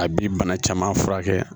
A bi bana caman furakɛ